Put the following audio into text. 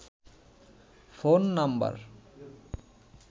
phone number